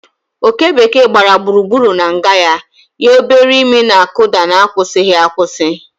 Oké bekee gbara gburugburu na nga ya, ya obere imi na-akụda n'akwụsịghị akwụsị.